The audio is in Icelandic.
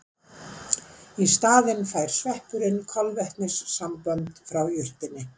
Í staðinn fær sveppurinn kolvetnissambönd frá jurtinni.